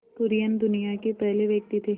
कुरियन दुनिया के पहले व्यक्ति थे